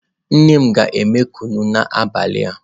Nne m ga eme kunu n'abali a.